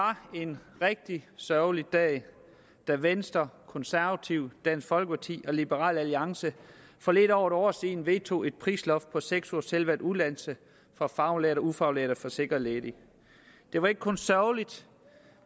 var en rigtig sørgelig dag da venstre konservative dansk folkeparti og liberal alliance for lidt over et år siden vedtog et prisloft på seks ugers selvvalgt uddannelse for faglærte og ufaglærte forsikrede ledige det var ikke kun sørgeligt